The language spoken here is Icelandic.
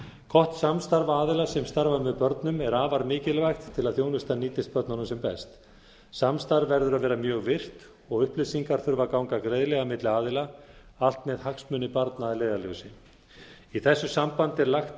gott samstarf aðila sem starfa með börnum er afar mikilvægt til að þjónustan nýtist börnunum sem best samstarf verður að vera mjög virkt og upplýsingar þurfa að ganga greiðlega milli aðila allt með hagsmuni barna að leiðarljósi í þessu sambandi er lagt